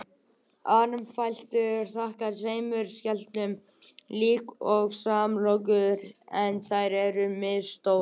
Armfætlur eru þaktar tveimur skeljum líkt og samlokurnar en þær eru misstórar.